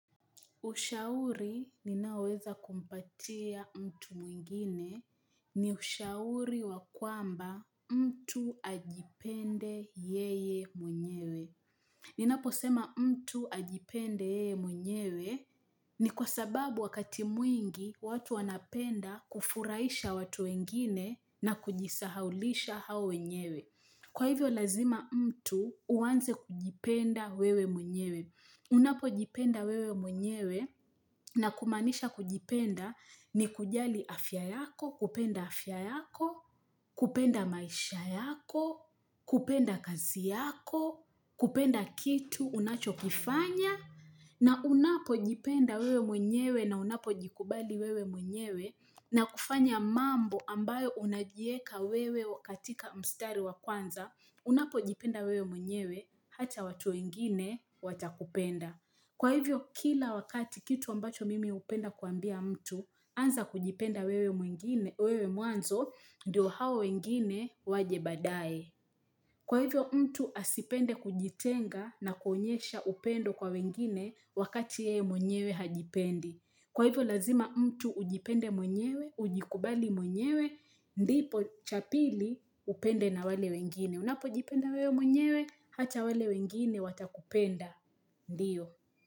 Ushauri ninaoweza kumpatia mtu mwingine ni ushauri wakwamba mtu ajipende yeye mwenyewe. Ninapo sema mtu ajipende yeye mwenyewe ni kwa sababu wakati mwingi watu wanapenda kufurahisha watu wengine na kujisahaulisha hao wenyewe. Kwa hivyo lazima mtu uanze kujipenda wewe mwenyewe. Unapojipenda wewe mwenyewe na kumaanisha kujipenda ni kujali afya yako, kupenda afya yako, kupenda maisha yako, kupenda kazi yako, kupenda kitu, unachokifanya. Na unapojipenda wewe mwenyewe na unapojikubali wewe mwenyewe na kufanya mambo ambayo unajiweka wewe katika mstari wa kwanza, unapo jipenda wewe mwenyewe hata watu wengine watakupenda. Kwa hivyo, kila wakati kitu ambacho mimi hupenda kuambia mtu, anza kujipenda wewe mwanzo, ndio hao wengine waje baadaye. Kwa hivyo, mtu asipende kujitenga na kuonyesha upendo kwa wengine wakati yeye mwenyewe hajipendi. Kwa hivyo, lazima mtu ujipende mwenyewe, ujikubali mwenyewe, ndipo cha pili upende na wale wengine. Unapo jipenda wewe mwenyewe, hata wale wengine watakupenda, ndio.